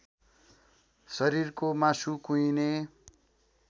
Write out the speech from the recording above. शरीरको मासु कुहिने